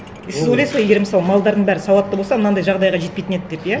и сіз ойлайсыз ғой егер мысалы малдардың бәрі сауатты болса мынандай жағдайға жетпейтін еді деп иә